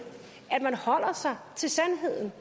at man holder sig til sandheden